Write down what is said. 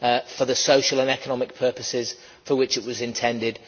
for the social and economic purposes for which it was intended.